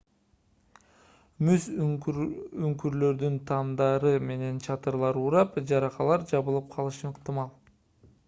муз үңкүрлөрүнүн тамдары менен чатырлары урап жаракалар жабылып калышы ыктымал